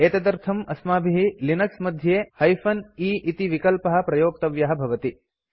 एतदर्थम् अस्माभिः लिनक्स मध्ये -e इति विकल्पः प्रयोक्तव्यः भवति